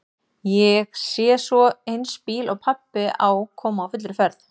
Ég sé svo eins bíl og pabbi á koma á fullri ferð.